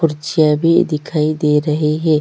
कुर्सियां भी दिखाई दे रही है।